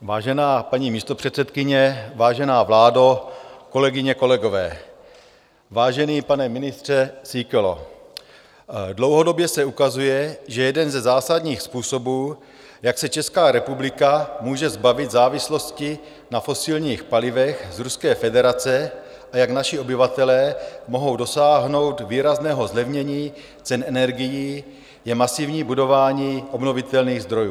Vážená paní místopředsedkyně, vážená vládo, kolegyně, kolegové, vážený pane ministře Síkelo, dlouhodobě se ukazuje, že jeden ze zásadních způsobů, jak se Česká republika může zbavit závislosti na fosilních palivech z Ruské federace a jak naši obyvatelé mohou dosáhnout výrazného zlevnění cen energií, je masivní budování obnovitelných zdrojů.